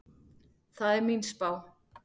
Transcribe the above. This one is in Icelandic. Það er mín spá.